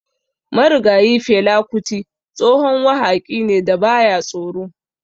Marigayi Fela Kuti tsohon wahaƙi ne da baya da tsoro.